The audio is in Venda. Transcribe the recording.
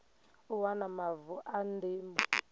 u wana mavu a ndimo